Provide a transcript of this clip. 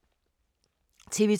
TV 2